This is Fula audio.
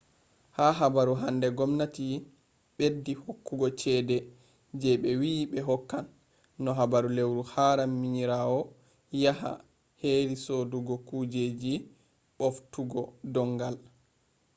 ha habaru hande gomnati ɓeddi hokkugo cede je ɓe wi ɓe hokkan no ha lewru haram minirawo yaha heri sodugo kujeji ɓoftugo dongal